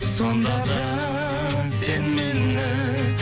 сонда да сен мені